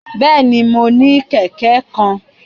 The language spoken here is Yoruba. Bẹẹni, Mo ni kẹkẹ kan